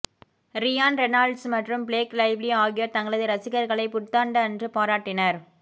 Ryan Reynolds மற்றும் Blake Lively ஆகியோர் தங்களது ரசிகர்களை புத்தாண்டு அன்று பாராட்டினர்